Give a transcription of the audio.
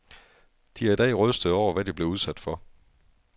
De er i dag rystede over, hvad de blev udsat for.